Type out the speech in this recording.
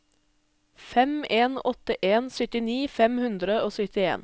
fem en åtte en syttini fem hundre og syttien